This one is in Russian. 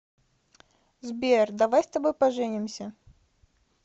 сбер давай с тобой поженимся